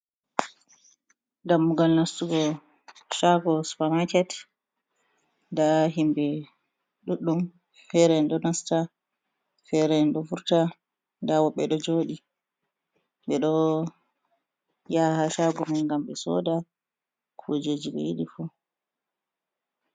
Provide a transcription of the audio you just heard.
Dammugol nastugo chago supamaket, nda himɓɓe ɗuɗɗum fere ɗo nasta, fere ɗo furta, nda woɓɓe ɗo joɗi ɓe ɗo ya ha shago me ngam ɓe soda kujeji ɓe yiɗi fu.